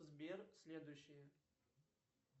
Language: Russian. сбер следующее